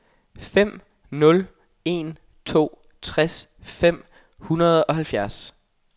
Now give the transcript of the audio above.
fem nul en to tres fem hundrede og halvfjerds